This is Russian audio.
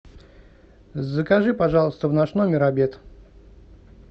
закажи пожалуйста в наш номер обед